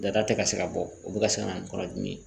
Data tɛ ka se ka bɔ o bɛ ka se ka na ni kɔnɔdimi ye